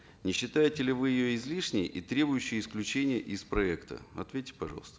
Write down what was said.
не считаете ли вы ее излишней и требующей исключения из проекта ответьте пожалуйста